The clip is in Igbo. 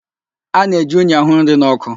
A na-eji unyi àhụ́ nri nọ́kụ́.